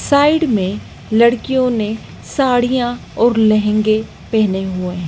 Side में लड़कियों ने साड़ियां और लहंगे पहने हुए हैं।